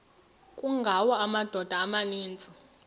kungawa amadoda amaninzi